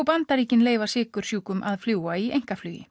Bandaríkin leyfa sykursjúkum að fljúga í